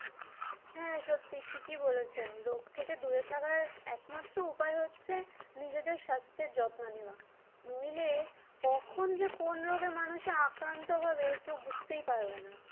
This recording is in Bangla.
হ্যাঁ সত্যি ঠিক বলেছ রোগ থেকে দূরে থাকার একমাত্র উপায় হচ্ছে নিজেদের স্বাস্থ্যের যত্ন নেওয়া নইলে কখন যে কোন রোগে মানুষে আক্রান্ত হবে কেউ বুঝতেই পারবে না।